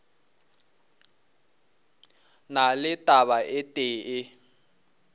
na le taba e tee